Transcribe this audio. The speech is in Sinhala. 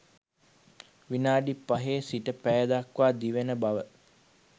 විනාඩි 5 සිට පැය දක්වා දිවෙන බව